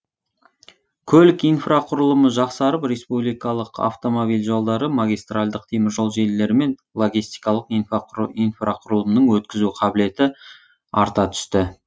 көлік инфрақұрылымы жақсарып республикалық автомобиль жолдары магистральдық теміржол желілері мен логистикалық инфрақұрылымның өткізу қабілеті арта түсті